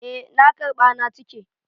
Eh na karɓa na cike.